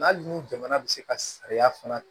Hali ni jamana bɛ se ka sariya fana